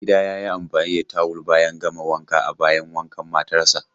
Maigida ya yi amfani da tawul bayan gama wanka a bayin wankan matarsa.